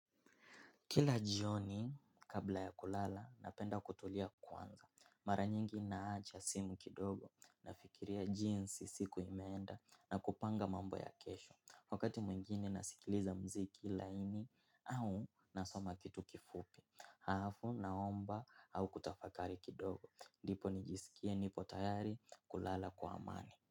Kila jioni kabla ya kulala napenda kutulia kwanza. Mara nyingi naacha simu kidogo nafikiria jinsi siku imeenda na kupanga mambo ya kesho. Wakati mwingine nasikiliza mziki laini au nasoma kitu kifupi. Haafu naomba au kutafakari kidogo. Ndipo nijisikie nipo tayari kulala kwa amani.